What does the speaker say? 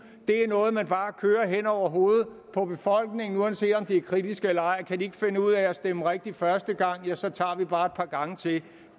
er noget man bare kører hen over hovedet på befolkningen uanset om de er kritiske eller ej kan de ikke finde ud af at stemme rigtigt første gang ja så tager vi bare et par gange til